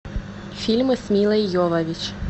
фильмы с милой йовович